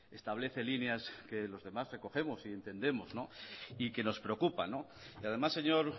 establece líneas que los demás recogemos y entendemos y que nos preocupa y además señor